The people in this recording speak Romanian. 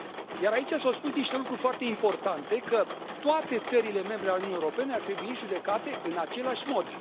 Iar aici s au spus niște lucruri foarte importante că toate țările membre ale Uniunii Europene ar trebui judecate în același mod.